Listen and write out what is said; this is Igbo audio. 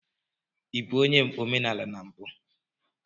Ị bụ onye omenala na mbụ?